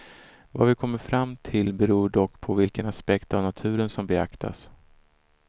Vad vi kommer fram till beror dock på vilken aspekt av naturen som beaktas.